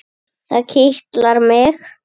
Það kitlar mig.